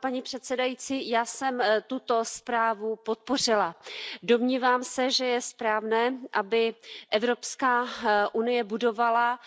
Paní předsedající, já jsem tuto zprávu podpořila, domnívám se, že je správné, aby Evropská unie budovala